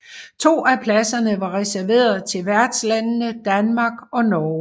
To af pladserne var reserveret til værtslandene Danmark og Norge